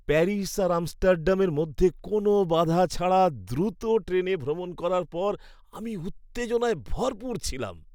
Paris আর আমস্টারডামের মধ্যে কোনো বাধা ছাড়া দ্রুত ট্রেনে ভ্রমণ করার পর আমি উত্তেজনায় ভরপুর ছিলাম।